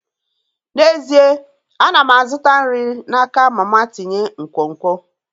N'ezie, ana m azụta nri n'aka mama tinye nkwonkwo.